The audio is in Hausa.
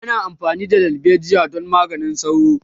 ana amfani da dalbejiya don maganin sauro